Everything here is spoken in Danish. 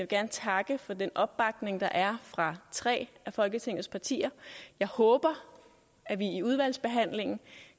gerne takke for den opbakning der er fra tre af folketingets partier jeg håber at vi i udvalgsbehandlingen